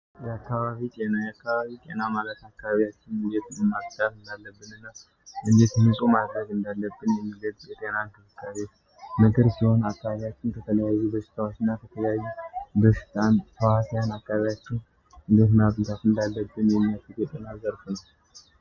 የከባቢ እና የአካባቢ ጤና ማለት አካባቢያችን እዴት ማጽዳት እንዳለብን እና እንዴት ንጹህ ማረግ እንዳለብን የሚረዳ የጤና እንክብካቤ ትምህርት ሲሆን አካባቢያችን ከተለያዩ በሽታዎች እና ከተለያዩ በሽታ አምጪ ተዋሲያን አካቢያችን እንዴት መጽዳት እንዳለብን የሚያሳይ የትምህርት ዘርፍ ነው።